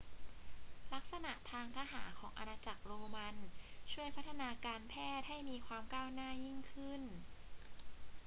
ลักษณะทางทหารของอาณาจักรโรมันช่วยพัฒนาการแพทย์ให้มีความก้าวหน้ายิ่งขึ้น